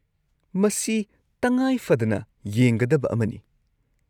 ꯃꯁꯤ ꯇꯉꯥꯏꯐꯗꯅ ꯌꯦꯡꯒꯗꯕ ꯑꯃꯅꯤ꯫